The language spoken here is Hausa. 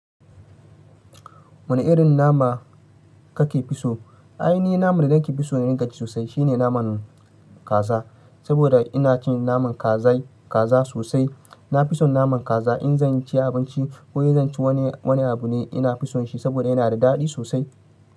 Wane irin nama kake fi so? Ainihi naman da zan ke fi so ni gaske sosai shine naman kaza. Saboda inacin naman kaza sosai na fi son naman kaza in zan ci abinci ko zan ci wani abu ne ina fi son shi saboda yana da daɗi sosai.